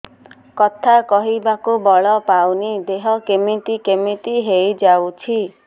କଥା କହିବାକୁ ବଳ ପାଉନି ଦେହ କେମିତି କେମିତି ହେଇଯାଉଛି